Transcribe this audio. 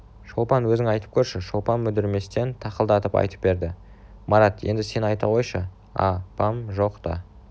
шолпан өзің айтып көрші шолпан мүдірместен тақылдатып айтып берді марат енді сен айта қойшы а-пам жоқта